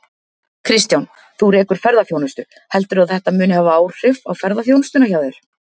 Kristján: Þú rekur ferðaþjónustu, heldurðu að þetta muni hafa áhrif á ferðaþjónustuna hjá þér?